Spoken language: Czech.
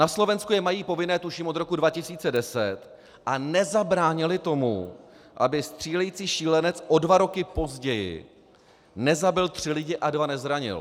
Na Slovensku je mají povinné tuším od roku 2010 a nezabránily tomu, aby střílející šílenec o dva roky později nezabil tři lidi a dva nezranil.